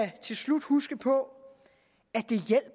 huske på